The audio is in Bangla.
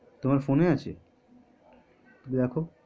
তোমার ফোনে আছে? দেখো